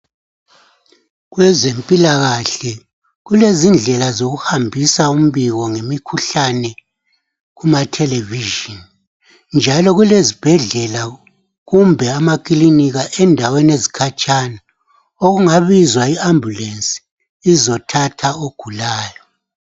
Kwezempilakahle kulezindlela zokuhambisa umbiko ngemikhuhlane kumatelevision njalo kulezibhedlela kumbe amakilinika endaweni ezikhatshana okungabizwa i ambulensi izothatha ogulayo.